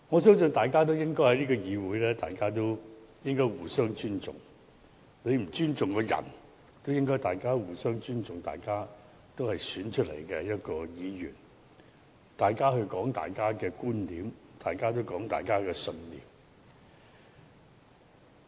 在這個議會，我相信大家應互相尊重，即使你不尊重某人，亦應尊重大家是經選舉產生的議員，並尊重各人道出各自的觀點和信念。